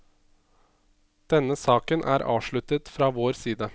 Denne saken er avsluttet fra vår side.